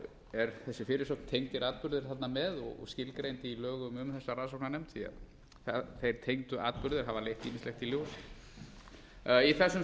er þessi fyrirsögn tengdir atburðir þarna með og skilgreind í lögum um þessa rannsókanrnefnd því að þeir tengdu atburðir hafa leitt ýmislegt í ljós í þessum